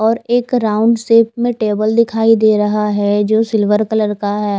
और एक round shape में टेबल दिखाई दे रहा है जो सिल्वर कलर का है।